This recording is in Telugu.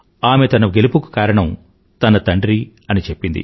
ఆమె తన గెలుపుకి కారణం తన తండ్రి అని చెప్పింది